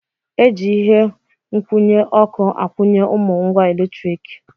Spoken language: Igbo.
E ji ihe nkwụnye ọkụ akwụnye ụmụ ngwa eletrik.